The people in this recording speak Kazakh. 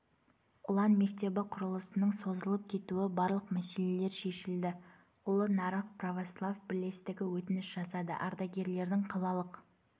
ұлан мектебі құрылысының созылып кетуі барлық мәселелер шешілді ұлы нарық православ бірлестігі өтініш жасады ардагерлердің қалалық